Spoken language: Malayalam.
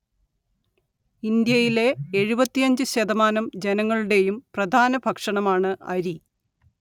ഇന്ത്യയിലെ എഴുപത്തിയഞ്ച് ശതമാനം ജനങ്ങളുടേയും പ്രധാന ഭക്ഷണമാണ്‌ അരി